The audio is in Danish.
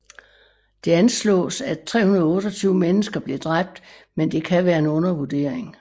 Det anslås at 328 mennesker blev dræbt men dette kan være en undervurdering